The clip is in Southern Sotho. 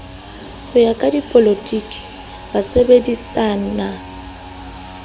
ho ya ka dipolotiki basebedisani